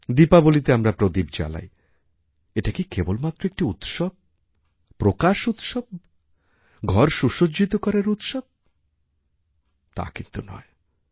দীপাবলীতে আমরা প্রদীপ জ্বালাই এটা কি কেবলমাত্র একটিউৎসব প্রকাশ উৎসব ঘর সুসজ্জিত করার উৎসব তা কিন্তু নয়